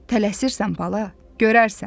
Tələsirsən bala, görərsən.